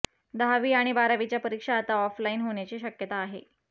दहावी आणि बारावीच्या परीक्षा आता ऑफलाईन होण्याची शक्यता आहे